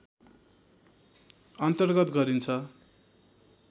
अन्तर्गत गरिन्छ